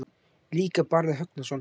Líka Barði Högnason.